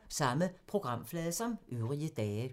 Samme programflade som øvrige dage